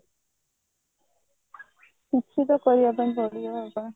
କିଛି ତ କରିବା ପାଇଁ ପଡିବ ଆଉ କଣ